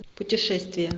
путешествия